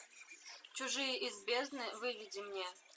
чужие из бездны выведи мне